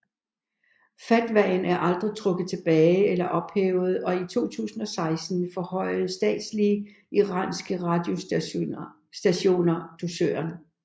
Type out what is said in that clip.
Fatwaen er aldrig trukket tilbage eller ophævet og i 2016 forhøjede statslige iranske radiostationer dusøren